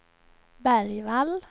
Bergvall